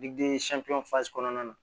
kɔnɔna na